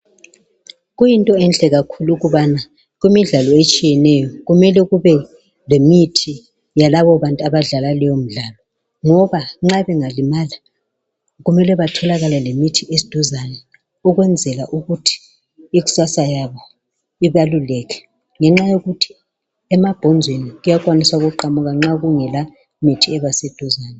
kuyinto enhle kakhulu ukuthi emidlalweni etshiyeneyo kube lemithi yalabo babantu abadlala leyomidlalo ukwenzela ukuthi nxa engalimala kumele kube lemithi eseduzane ukwenzelaukuthi ikusasa laba livilekelwe ngenxa yokuthi sebengalibala ambhonzo nxakungela muthi eduzane.